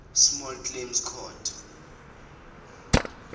small claims court